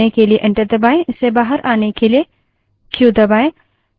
इससे बाहर आने के लिए क्यू दबायें